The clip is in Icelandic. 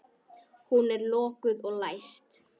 Hún er lokuð og læst.